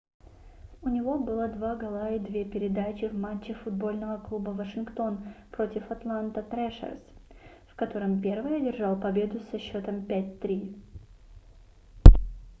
у него было 2 гола и 2 передачи в матче футбольного клуба вашингтон против атланта трэшерз в котором первый одержал победу со счётом 5-3